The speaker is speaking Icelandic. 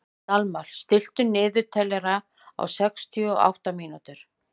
Dalmar, stilltu niðurteljara á sextíu og átta mínútur.